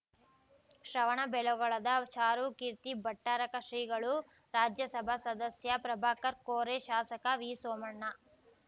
ಶ್ರವಣಬೆಳಗೊಳದ ಚಾರುಕೀರ್ತಿ ಭಟ್ಟಾರಕ ಶ್ರೀಗಳು ರಾಜ್ಯಸಭಾ ಸದಸ್ಯ ಪ್ರಭಾಕರ್‌ ಕೋರೆ ಶಾಸಕ ವಿಸೋಮಣ್ಣ